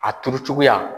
A turu cogoya